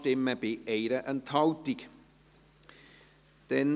62 und 63 sind gemeinsam in freier Debatte zu beraten.